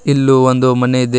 ಇಲ್ಲೂ ಒಂದು ಮನೆ ಇದೆ ಮತ್--